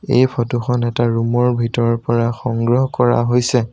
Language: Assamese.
এই ফটো খন এটা ৰুম ৰ ভিতৰৰ পৰা সংগ্ৰহ কৰা হৈছে।